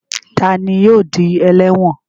Ta ni yóò di ẹlẹ́wọ̀n?